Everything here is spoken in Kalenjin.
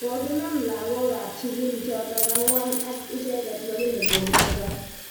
Kokinam lakok ap sugul chotok ang'wan ak icheget lakini kokimeto